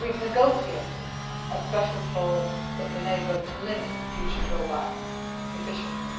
And we have negotiated a special clause that would enable us to limit duty drawback efficiently.